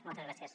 moltes gràcies